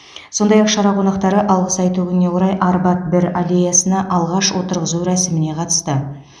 сондай ақ шара қонақтары алғыс айту күніне орай арбат бір аллеясына ағаш отырғызу рәсіміне қатысты